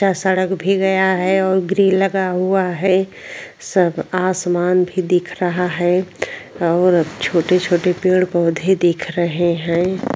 जहा सड़क भी गया है और ग्रिल लगा हुआ है सब आसमान भी दिख रहा है और छोटे छोटे पेड़ पौधे दिख रहे हये।